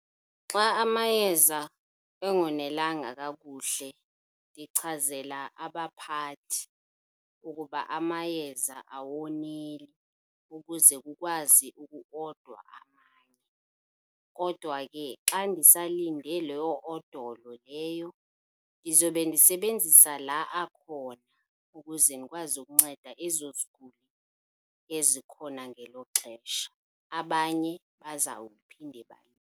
Xa amayeza engonelanga kakuhle ndichazela abaphathi ukuba amayeza awoneli ukuze kukwazi ukuodwa amanye. Kodwa ke xa ndisalinde loo odolo leyo ndizobe ndisebenzisa la akhona ukuze ndikwazi ukunceda ezo ziguli ezikhona ngelo xesha, abanye bazawuphinde .